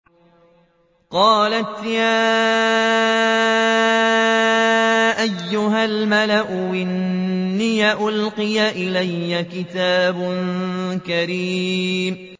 قَالَتْ يَا أَيُّهَا الْمَلَأُ إِنِّي أُلْقِيَ إِلَيَّ كِتَابٌ كَرِيمٌ